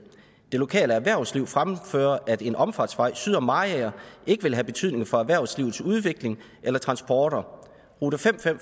det lokale erhvervsliv fremfører at en omfartsvej syd om mariager ikke vil have betydning for erhvervslivets udvikling eller transporter rute fem